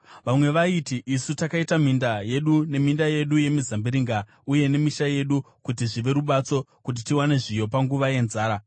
Vamwe vaiti, “Isu takaita minda yedu neminda yedu yemizambiringa uye nemisha yedu kuti zvive rubatso kuti tiwane zviyo panguva yenzara.”